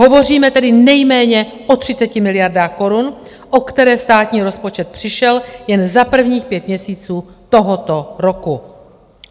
Hovoříme tedy nejméně o 30 miliardách korun, o které státní rozpočet přišel jen za prvních pět měsíců tohoto roku!